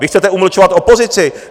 Vy chcete umlčovat opozici.